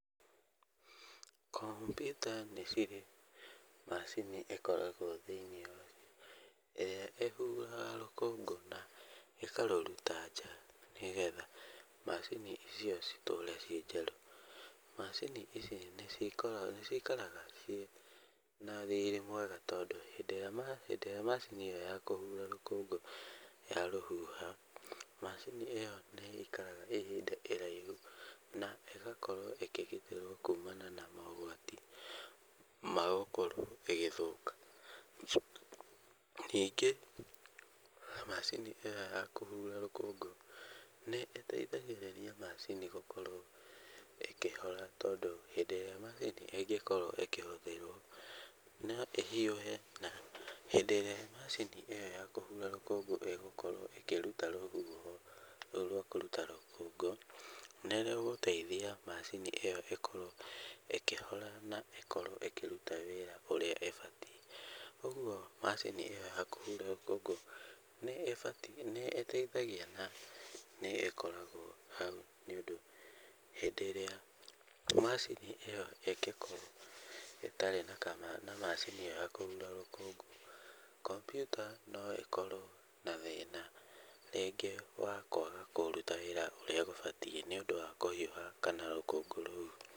Kompiuta nĩ cirĩ macini ĩkoragwo thĩiniĩ wacio ĩrĩa ĩhuhaga rũkũngũ na ĩkarũruta nja, nĩgetha macini icio citũre ii njerũ. Macini ici nĩ cikaraga ciĩna riri mwega, tondũ hĩndĩ ĩrĩa macini ĩyo ya kũhura rũkũngũ yarũhuha, macini ĩyo nĩ ĩikaraga ihinda iraihu na ĩgakorwo ĩkĩgitĩrwo kuumana na mogwati ma gũkorwo ĩgĩthũka. Ningĩ macini ĩyo ya kũhura rũkũngũ nĩ ĩteithagĩrĩria macini gũkorwo ĩkĩhora, tondũ hĩndĩ ĩrĩa macini ĩngĩkorwo ĩkĩhũthĩrwo no ĩhiũhe. Hĩndĩ ĩrĩa macini ĩyo ya kũruta rũkũngũ ĩgũkorwo ĩkĩruta rũhuho rũu rwa kũruta rũkũngũ, nĩ rũgũteithia macini ĩkorwo ĩkĩhora na ĩkorwo ĩkĩruta wĩra ũrĩa ĩbatiĩ. Ũguo macini ĩyo ya kũhura rũkũngũ nĩ ĩbatiĩ nĩ ĩteithagia na nĩ ĩkoragwo hau, nĩ ũndũ hĩndĩ ĩrĩa macini ĩyo ĩngĩkorwo ĩtarĩ na macini ĩyo ya kũhura rũkũngũ kompiuta no ĩkorwo na thĩna rĩngĩ wa kũaga kũruta wĩra ũrĩa gũbatiĩ, nĩ ũndũ wa kũhiuha kana rũkũngũ rũu.